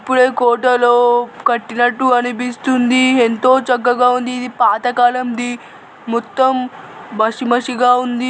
ఇపుడె కోటలో కట్టినట్టు అనిపిస్తుంది ఎంతో చక్కగా ఉంది ఇది పాతకాలంది మొత్తం బసి మాసిగా ఉంది